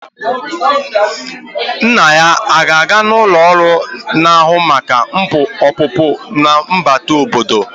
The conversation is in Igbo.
Nna ya a ga-aga n'ụlọ ọrụ na-ahụ maka ọpụpụ na mbata obodo?